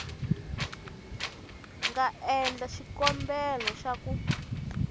nga endla xikombelo xa ku